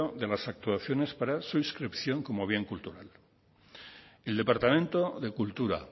de las actuaciones para su inscripción como bien cultural el departamento de cultura